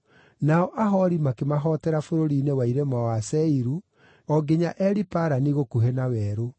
nao Ahori makĩmahootera bũrũri-inĩ wa irĩma wa Seiru, o nginya Eli-Parani gũkuhĩ na werũ.